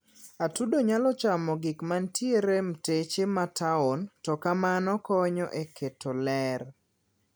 atudo nyalo chamo gikmantiere mteche ma taon to kamano konyo e keto lerr